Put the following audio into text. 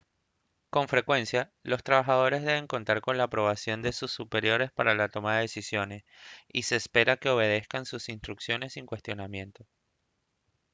con frecuencia los trabajadores deben contar con la aprobación de sus superiores para la toma de decisiones y se espera que obedezcan sus instrucciones sin cuestionamiento